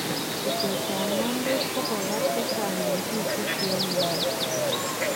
Butetab ngwandet kokabaar chechang en biik 50 en Uganda